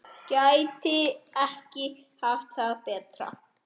Gæti ekki haft það betra.